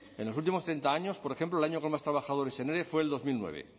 en los últimos treinta años por ejemplo el año con más trabajadores en ere fue dos mil nueve